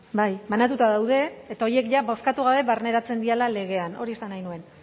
bai banatuta daude eta horiek jada bozkatu gabe barneratzen direla legean hori esan nahi nuen